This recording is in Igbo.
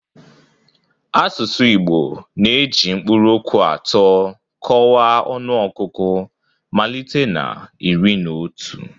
Asụsụ Igbo na-eji mkpụrụokwu atọ kọwaa ọnụọgụgụ malite na 'iri na otu'.